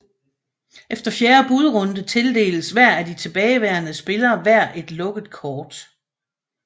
Efter fjerde budrunde tildeles hver af de tilbageværende spillere hver et lukket kort